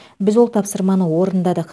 біз ол тапсырманы орындадық